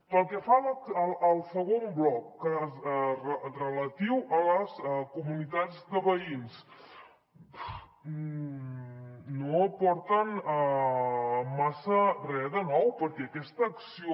pel que fa al segon bloc relatiu a les comunitats de veïns no aporten massa re de nou perquè aquesta acció